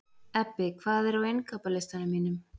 Ebbi, hvað er á innkaupalistanum mínum?